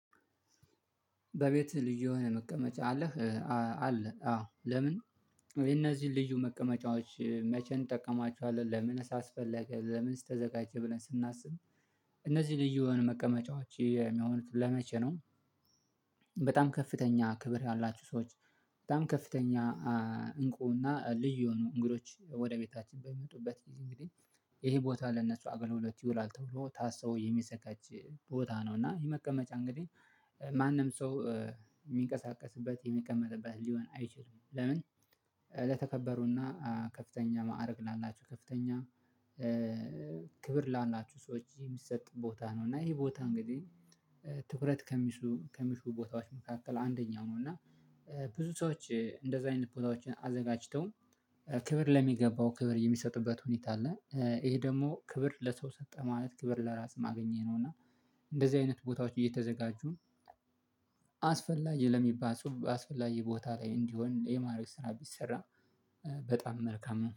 በቤት ልዩ የሆነ መቀመጫ አለህ? አለ፤ አዎ፤ ለምን? ወይ እነዚህን ልዩ መቀመጫዎች መቼ እንጠቀማቸዋለን? ለምን አስፈለገ? ለምን ተዘጋጀ? ብለን ስናስብ እነዚህ ልዩ የሆኑ መቀመጫዎች የሚሆኑት ለመቼ ነው? በጣም ከፍተኛ ክብር ያላቸው ሰዎች በጣም ከፍተኛ እንቁና ልዩ የሆኑ እንግዶች ወደ ቤታችን በመጡበት ጊዜ፣ እንግዲህ ይሄ ቦታ ለነሱ አገልግሎት ይውላል ተብሎ ታስቦ የሚዘጋጅ ቦታ ነው፤ እና ይሄ መቀመጫ እንግዲህ ማንም ሰው የሚንቀሳቀስበት፣ የሚቀመጥበት ሊሆን አይችልም። ለምን? ለተከበሩና ከፍተኛ ማዕረግ ላላችሁ ከፍተኛ ክብር ላላቸው ሰዎች የሚሰጥ ቦታ ነው፤ እና ይሄ ቦታ እንግዲህ ትኩረት ከሚሹ ከሚሹ ቦታዎች መካከል አንደኛው ነው፤ እና ብዙ ሰዎች እንደዚህ አይነት ቦታዎችን አዘጋጅተው፣ ክብር ለሚገባው ክብር የሚሰጥበት ሁኔታ አለ። ይሄ ደግሞ ክብር ለሰው ሰጠ ማለት ክብር ለራስ አግኘ ነው፤ እና እንደዚህ አይነት ቦታዎች እየተዘጋጁ፣ አስፈላጊ ለሚባል አስፈላጊ ቦታ ላይ እንዲሆን የማድረግ ስራ ቢሠራ በጣም መልካም ነው።